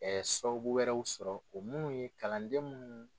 sababu wɛrɛw sɔrɔ o minnu ye kalanden minnu